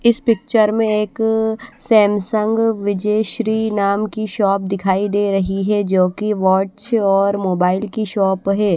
इस पिक्चर में एक सैमसंग विजय श्री नाम की शॉप दिखाई दे रही है जो कि वॉच और मोबाइल की शॉप है।